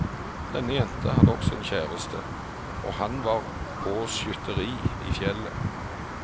Denne jenta hadde også en kjæreste, og han var på skytteri i fjellet.